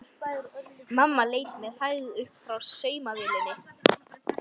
Mamma leit með hægð upp frá saumavélinni.